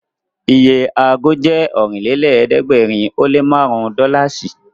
Iye ago jẹ́ Ọ̀rìnlélẹ̀ẹ́dẹ́gbèrin ó lé márùn-ún dọ́làsì